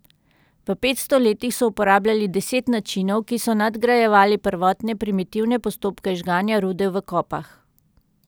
V petsto letih so uporabljali deset načinov, ki so nadgrajevali prvotne primitivne postopke žganja rude v kopah.